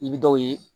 I bɛ dɔw ye